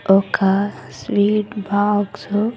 ఒక sweet box .